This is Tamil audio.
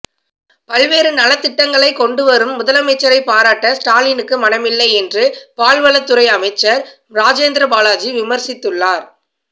பல்வேறு நலத்திட்டங்களை கொண்டு வரும் முதலமைச்சரை பாராட்ட ஸ்டாலினுக்கு மனமில்லை என்று பால்வளத்துறை அமைச்சர் ராஜேந்திர பாலாஜி விமர்சித்துள்ளார்